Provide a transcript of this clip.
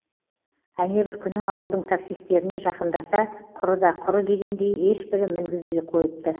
әнебір күні ауылдың таксистеріне жақындаса құрыда құры дегендей ешбірі мінгізбей қойыпты